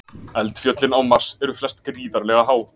Eldfjöllin á Mars eru flest gríðarlega há.